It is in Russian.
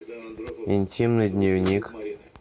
интимный дневник